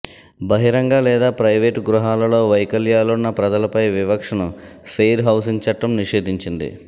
బహిరంగ లేదా ప్రైవేటు గృహాలలో వైకల్యాలున్న ప్రజలపై వివక్షను ఫెయిర్ హౌసింగ్ చట్టం నిషేధించింది